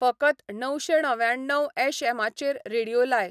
फकत णवशें णव्याण्णव ऍश ऍमाचेर रेडीयो लाय